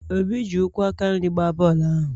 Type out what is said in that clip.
obi ji ụkwụ aka nri gbaa bọọlụ ahụ